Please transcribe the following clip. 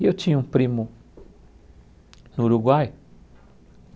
E eu tinha um primo no Uruguai.